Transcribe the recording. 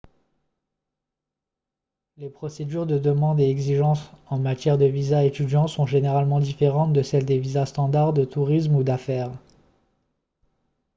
les procédures de demande et exigences en matière de visas étudiants sont généralement différentes de celles des visas standard de tourisme ou d'affaires